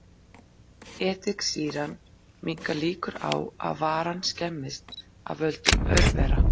Ediksýran minnkar líkur á að varan skemmist af völdum örvera.